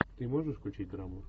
ты можешь включить драму